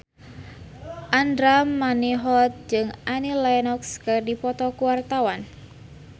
Andra Manihot jeung Annie Lenox keur dipoto ku wartawan